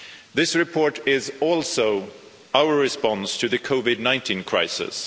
This report is also our response to the COVID 19 crisis.